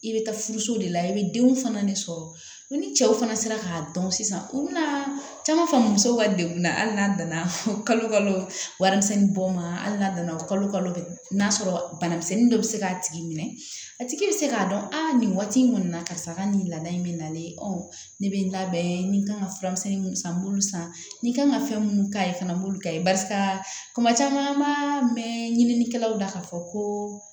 I bɛ taa furuso de la i bɛ denw fana de sɔrɔ ni cɛw fana sera k'a dɔn sisan u bɛna caman faamu musow ka degun na hali n'a nana kalo kalo warimisɛn bɔ ma hali n'a nana kalo kalo n'a sɔrɔ banamisɛnnin dɔ bɛ se k'a tigi minɛ a tigi bɛ se k'a dɔn a nin waati in kɔni na karisa ka nin laada in bɛ nalen ɔ ne bɛ n ta bɛɛ ye n kan ka fura misɛnnin minnu san n b'olu san n kan ka fɛn minnu k'a ye fana n b'olu k'a ye barisa kuma caman mɛn ɲininnikɛlaw la k'a fɔ ko